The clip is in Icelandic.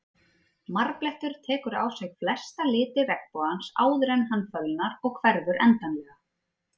Marblettur tekur á sig flesta liti regnbogans áður en hann fölnar og hverfur endanlega.